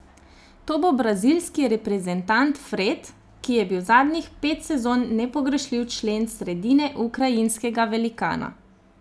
To bo brazilski reprezentant Fred, ki je bil zadnjih pet sezon nepogrešljiv člen sredine ukrajinskega velikana.